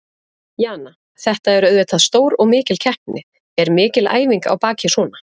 Hefðu þeir þá hafa náð sama árangri og þeir hafa náð undanfarin ár?